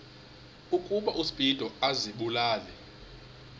ukuba uspido azibulale